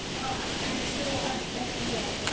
En þú ert ekki hér.